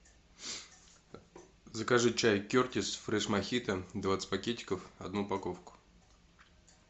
закажи чай кертис фреш мохито двадцать пакетиков одну упаковку